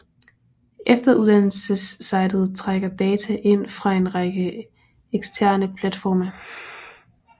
Efteruddannelsessitet trækker data ind fra en række eksterne platforme